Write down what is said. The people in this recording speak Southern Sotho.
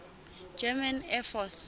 german air force